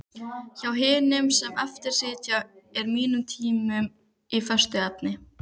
Hjá hinum sem eftir situr er tíminn úr föstu efni.